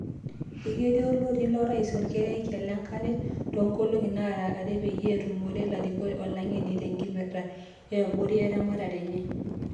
"Eketii olotii lorais olkerekia lenkare toonkolongi naara are peyie etumore larikok olang'eni tenkipirta eborata eramatare enye.